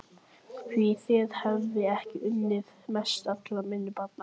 Því þér hef ég unnað mest allra minna barna.